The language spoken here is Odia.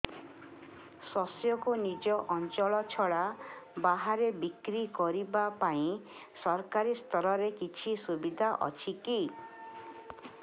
ଶସ୍ୟକୁ ନିଜ ଅଞ୍ଚଳ ଛଡା ବାହାରେ ବିକ୍ରି କରିବା ପାଇଁ ସରକାରୀ ସ୍ତରରେ କିଛି ସୁବିଧା ଅଛି କି